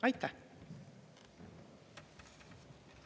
Aitäh!